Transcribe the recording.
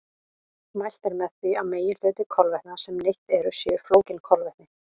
Mælt er með því að meginhluti kolvetna sem neytt er séu flókin kolvetni.